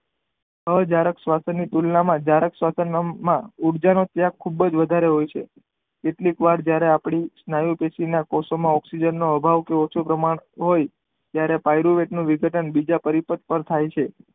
અજરાક ની શ્વસન ની ક્રિયા માં જરાક શ્વસન અંગ માં ઉર્જા નો ત્યાગ ખુબજ વધારે હોય છે કેટલીક વાર જયારે આપણી નવી પેશી માં ઓકઝીજન નો અભાવ કે ઓછું પ્રમાણ હોય ત્યારે પાયરૂવેદ નું વિઘટન બીજાપરીશીદ પર થાય છે.